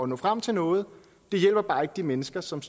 når frem til noget det hjælper bare ikke de mennesker som